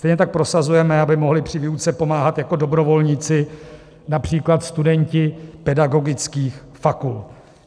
Stejně tak prosazujeme, aby mohli při výuce pomáhat jako dobrovolníci například studenti pedagogických fakult.